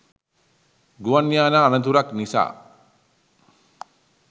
ගුවන් යානා අනතුරක් නිසා